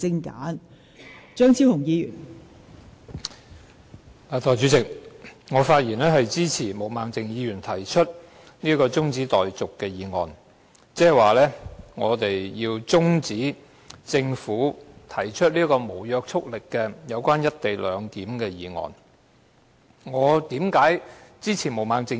代理主席，我發言支持毛孟靜議員提出的中止待續議案，換言之，我們要中止辯論政府提出的這項有關"一地兩檢"安排的無約束力議案。